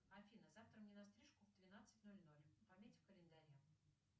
афина завтра мне на стрижку в двенадцать ноль ноль пометь в календаре